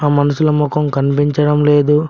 ఆ మనుషుల మొఖం కనిపించడం లేదు.